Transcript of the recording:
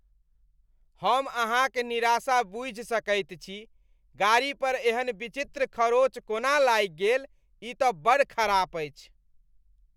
हम अहाँक निराशा बूझि सकैत छी। गाड़ी पर एहन विचित्र खँरोच कोना लागि गेल, ई तँ बड़ खराब अछि।